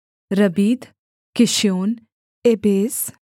Rabbith Kishion Abyss